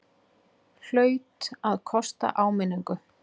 Hlaut að kosta áminningu!